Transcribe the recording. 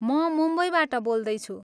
म मुम्बईबाट बोल्दैछु ।